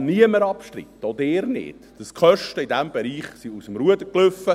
Es kann niemand abstreiten, auch Sie nicht, dass die Kosten in diesem Bereich aus dem Ruder liefen.